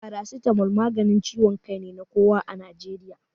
Paracetamol maganin ciwon kai ne na kowa a Najeriya.